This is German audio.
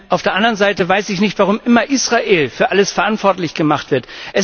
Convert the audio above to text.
Auf der anderen Seite weiß ich nicht, warum immer Israel für alles verantwortlich gemacht wird.